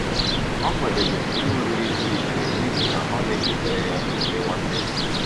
Ọ kwadebere ihe oriri pụrụ iche n'ihi na ọ na-echetara ya emume nwata ya.